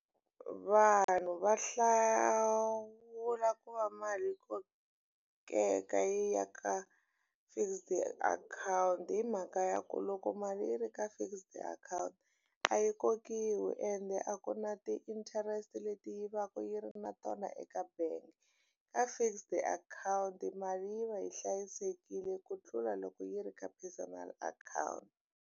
Vanhu va hlawula ku va mali yi kokeka yi ya ka fixed akhawunti hi mhaka ya ku loko mali yi ri ka fixed account a yi kokiwi ende a ku na ti-interest leti yi vaka yi ri na tona eka bank ka fixed akhawunti mali yi va yi hlayisekile ku tlula loko yi ri ka personal account.